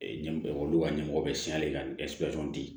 ɲɛ olu ka ɲɛmɔgɔ bɛ siɲɛ ka di